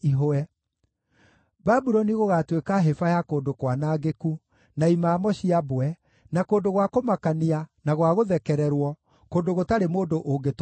Babuloni gũgaatuĩka hĩba ya kũndũ kwanangĩku, na imamo cia mbwe, na kũndũ gwa kũmakania, na gwa gũthekererwo, kũndũ gũtarĩ mũndũ ũngĩtũũra kuo.